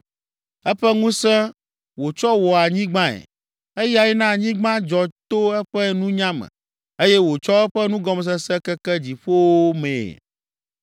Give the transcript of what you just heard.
“Eƒe ŋusẽ wòtsɔ wɔ anyigbae; eyae na anyigba dzɔ to eƒe nunya me, eye wòtsɔ eƒe nugɔmesese keke dziƒowo mee.